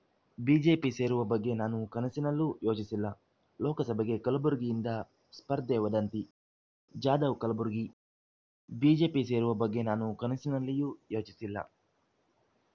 BJP ಸೇರುವ ಬಗ್ಗೆ ನಾನು ಕನಸಿನಲ್ಲೂ ಯೋಚಿಸಿಲ್ಲ ಲೋಕಸಭೆಗೆ ಕಲಬುರಗಿಯಿಂದ ಸ್ಪರ್ಧೆ ವದಂತಿ ಜಾಧವ್‌ ಕಲಬುರಗಿ ಬಿಜೆಪಿ ಸೇರುವ ಬಗ್ಗೆ ನಾನು ಕನಸಿನಲ್ಲಿಯೂ ಯೋಚಿಸಿಲ್ಲ